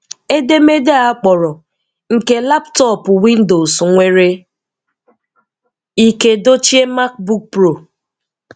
Edemede a akpọrọ "Nke laptọọpụ Windows nwere ike dochie MacBook Pro?"